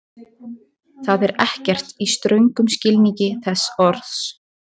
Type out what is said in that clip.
Það er ekkert, í ströngum skilningi þess orðs.